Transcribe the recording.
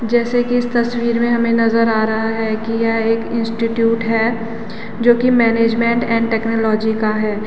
जैसे की इस तस्वीर में हमें नज़र आ रहा है की यह एक इंस्टिट्यूट है जो कि मैनेजमेंट एंड टेक्नोलॉजी का है।